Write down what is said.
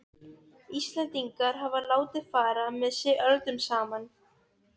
Íslendingar hafa látið fara með sig öldum saman.